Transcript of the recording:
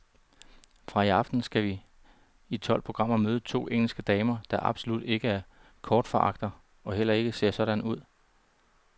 Fra i aften skal vi i tolv programmer møde to engelske damer, der absolut ikke er kostforagtere og heller ikke ser sådan ud.